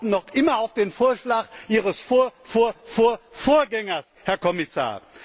Wir warten noch immer auf den Vorschlag Ihres Vorvorvorvorgängers, Herr Kommissar!